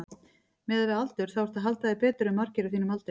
Miðað við aldur þá ertu að halda þér betur en margir á þínum aldri?